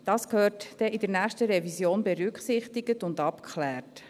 Das gehört dann in der nächsten Revision berücksichtigt und abgeklärt.